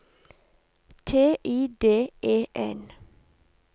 T I D E N